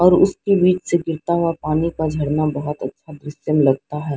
और उसके बीच से गिरता हुआ पानी का झरना बहुत अच्छा दृश्यम लगता है।